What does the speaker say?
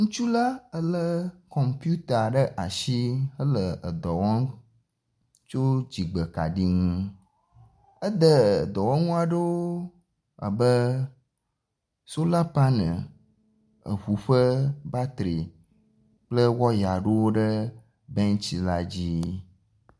Ŋutsu la lé kɔputa ɖe asi hele edɔ wɔm tso dziɖegbe kaɖi ŋu. Ede dɔwɔnu aɖewo abe sola panel, eŋu ƒe batri kple waya aɖewo ɖe bɛntsi la dzii.